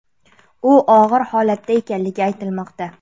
U og‘ir holatda ekanligi aytilmoqda.